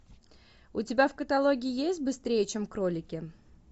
у тебя в каталоге есть быстрее чем кролики